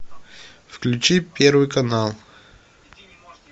включи первый канал